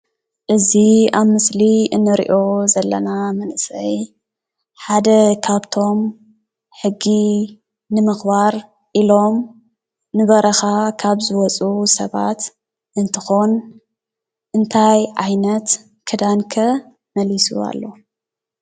እዚ ኣብ ምስሊ እንርእዮ ዘለና መንሰይ ሓደ ካብቶም ሕጊ ንምኽባር ኢሎም ንበረኻ ካብ ዝወፁ ሰባት እንትኾን እንታይ ዓይነት ክዳን ከ መሊሱ ኣሎ?